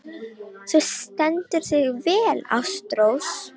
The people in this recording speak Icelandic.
Þú stendur þig vel, Ástrós!